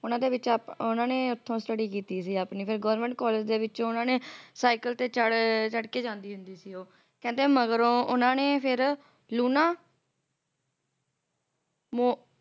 ਉਹਨਾਂ ਦੇ ਵਿੱਚ ਆਪ ਓਹਨਾ ਨੇ ਓਥੋਂ study ਕੀਤੀ ਸੀ ਆਪਣੀ ਫੇਰ government college ਦੇ ਵਿੱਚ ਉਹਨਾਂ ਨੇ ਸਾਈਕਲ ਤੇ ਚੜ ਅਹ ਚੜਕੇ ਜਾਂਦੀ ਹੁੰਦੀ ਸੀ ਉਹ ਕਹਿੰਦੇ ਮਗਰੋਂ ਫੇਰ ਉਹਨਾਂ ਨੇ ਕਹਿੰਦੇ ਲੂਣਾ ਮੋ